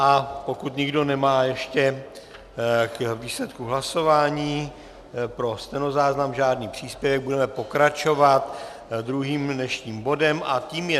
A pokud nikdo nic nemá k výsledku hlasování, pro stenozáznam žádný příspěvek, budeme pokračovat druhým dnešním bodem a tím je